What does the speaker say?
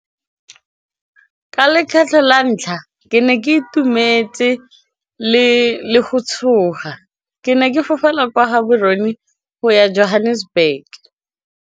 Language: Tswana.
Ka lekgetlho la ntlha ke ne ke itumetse le go tshoga ke ne ke fofela kwa Gaborone go ya Johannesburg.